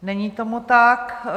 Není tomu tak.